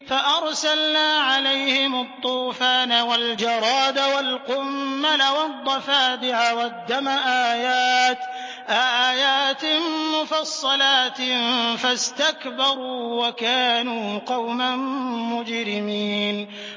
فَأَرْسَلْنَا عَلَيْهِمُ الطُّوفَانَ وَالْجَرَادَ وَالْقُمَّلَ وَالضَّفَادِعَ وَالدَّمَ آيَاتٍ مُّفَصَّلَاتٍ فَاسْتَكْبَرُوا وَكَانُوا قَوْمًا مُّجْرِمِينَ